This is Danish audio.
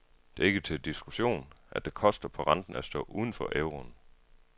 Det er ikke til diskussion, at det koster på renten at stå uden for euroen.